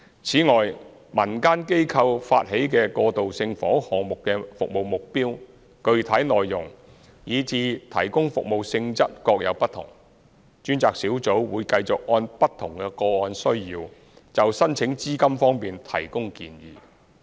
此外，民間機構發起的過渡性房屋項目的服務目標，具體內容，以至提供服務性質各有不同，專責小組會繼續按不同個案的需要，就申請資金方面提供建議。